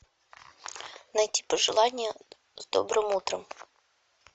найти пожелание с добрым утром